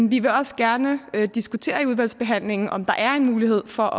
vi vil også gerne diskutere i udvalgsbehandlingen om der er en mulighed for